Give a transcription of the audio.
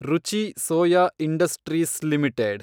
ರುಚಿ Soya Industries limited